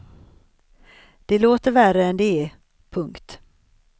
Det låter värre än det är. punkt